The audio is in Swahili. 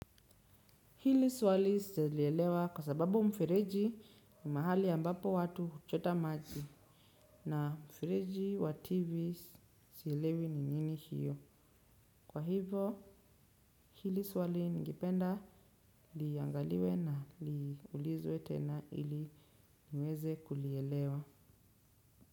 Hili swali sijalielewa kwa sababu mfereji ni mahali ambapo watu huchota maji. Na mfereji wa TV silelewi ni nini hiyo. Kwa hivo hili swali ningependa liangaliwe na liulizwe tena ili niweze kulielewa.